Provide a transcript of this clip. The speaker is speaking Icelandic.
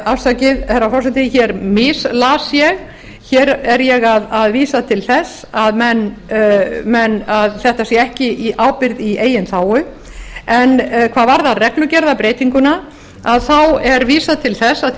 afsakið herra forseti hér mislas ég hér er ég að vísa til þess að þetta sé ekki í ábyrgð í eigin þágu en hvað varðar reglugerðarbreytinguna þá er vísað til þess